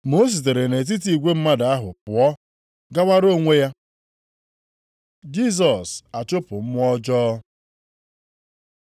Ma o sitere nʼetiti igwe mmadụ ahụ pụọ, gawara onwe ya. Jisọs achụpụ mmụọ ọjọọ